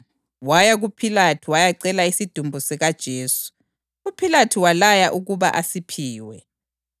Waya kuPhilathu wayacela isidumbu sikaJesu, uPhilathu walaya ukuba asiphiwe.